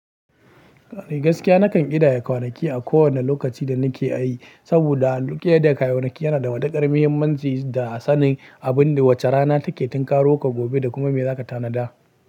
Gaskiya nakan ƙidaya kwanaki a kowane lokaci da nake ai, saboda ƙidaya kwanaki yana da matuƙar muhimmanci da sanin abin da wace rana take tun karowar ka gobe da kuma me zaka tanada.